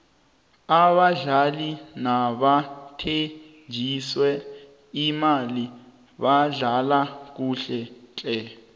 abadlali nabathenjiswe imali badlala kuhle tle